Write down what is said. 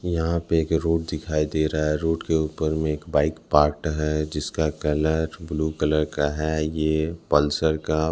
यहाँ पे एक रोड दिखाई दे रहा है रोड के ऊपर में एक बाइक पार्क्ड है जिसका कलर ब्लू कलर का है ये पल्सर का।